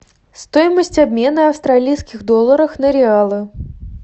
стоимость обмена австралийских долларов на реалы